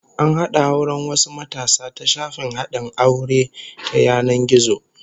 An hada auren wasu matasa ta shafin hadin aure ta yanan gizo